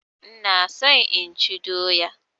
Ina so inchi doya